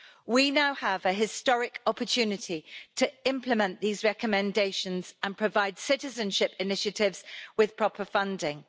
We now have a historic opportunity to implement these recommendations and provide citizenship initiatives with proper funding.